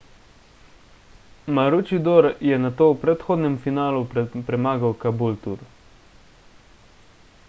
maroochydore je nato v predhodnem finalu premagal caboolture